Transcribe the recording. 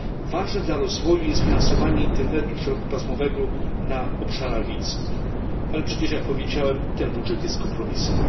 Ważne dla rozwoju jest finansowanie internetu szerokopasmowego na obszarach wiejskich, ale przecież, jak powiedziałem, ten budżet jest kompromisem.